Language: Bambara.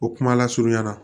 O kuma lasurunya na